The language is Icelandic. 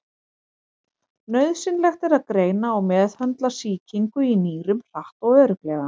Nauðsynlegt er að greina og meðhöndla sýkingu í nýrum hratt og örugglega.